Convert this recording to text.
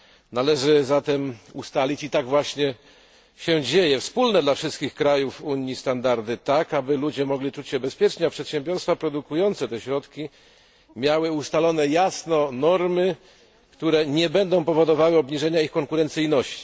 Należy zatem ustalić i tak właśnie się dzieje wspólne dla wszystkich krajów Unii standardy, tak aby ludzie mogli czuć się bezpiecznie, a przedsiębiorstwa produkujące te środki miały ustalone jasno normy, które nie będą powodowały obniżenia ich konkurencyjności.